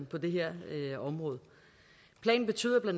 på det her område planen betyder bla